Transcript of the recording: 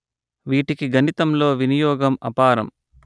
వీటికి గణితంలో వినియోగం అపారం